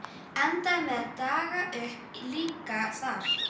Endaði með að daga uppi líka þar.